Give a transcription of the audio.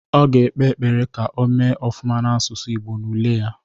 Ọ ga ekpe ekpere ka o mee ofụma n'asụsụ Ịgbo n'ule ya